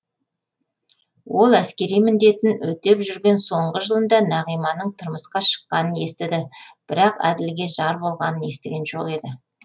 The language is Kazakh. ол әскери міндетін өтеп жүрген соңғы жылында нағиманың тұрмысқа шыққанын естіді бірақ әділге жар болғанын естіген жоқ еді